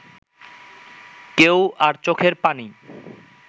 কেউ আর চোখের পানি